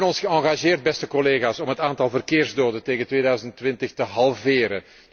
Wij hebben ons geëngageerd, beste collega's, om het aantal verkeersdoden tegen 2020 te halveren.